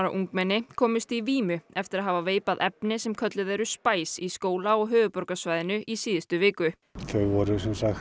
ungmenni komust í vímu eftir að hafa veipað efni sem kölluð eru í skóla á höfuðborgarsvæðinu í síðustu viku þau voru